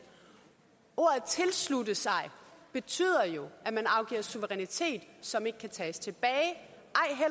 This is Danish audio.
ordene tilslutte sig betyder jo at man afgiver suverænitet som ikke kan tages tilbage